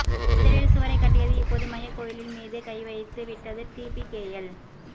முதலில் சுவரைக் கட்டியது இப்போது மையக் கோயில்மீதே கைவைத்து விட்டது டிபிகேஎல்